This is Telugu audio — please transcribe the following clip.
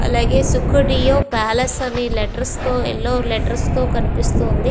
అలాగే సుకుడియో పాలస్ అని లెటర్స్ తో యెల్లో లెటర్స్ తో కనిపిస్తూ ఉంది.